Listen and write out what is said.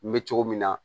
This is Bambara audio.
N bɛ cogo min na